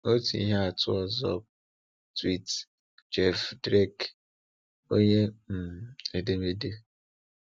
Otu ihe atụ ọzọ bụ tweet Jeff Drake, onye um edemede.